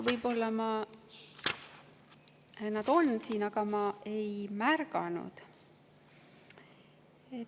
Võib-olla nad on siin, aga ma ei märganud neid.